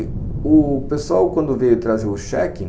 U pessoal quando veio trazer o check-in,